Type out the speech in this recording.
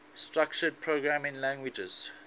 structured programming languages